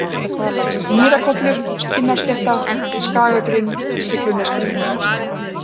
Mýrakollur, Kinnarslétta, Skagagrunn, Siglunesgrunn